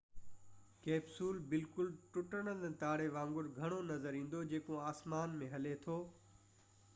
capsule بلڪل ٽٽندڙ تاري وانگر گهڻو نظر ايندو جيڪو آسمان ۾ هلي ٿو